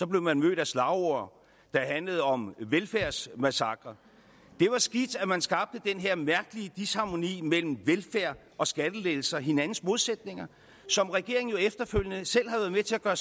blev man mødt af slagord der handlede om velfærdsmassakre det var skidt at man skabte den her mærkelige disharmoni mellem velfærd og skattelettelser hinandens modsætninger som regeringen jo efterfølgende selv har været med til at gøre